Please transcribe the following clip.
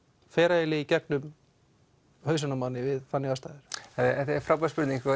fer eiginlega í gegnum við þannig aðstæður þetta er frábær spurning